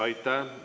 Aitäh!